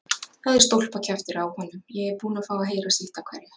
Það er stólpakjaftur á honum, ég er búinn að fá að heyra sitt af hverju.